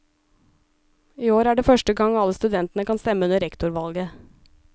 I år er det første gang alle studentene kan stemme under rektorvalget.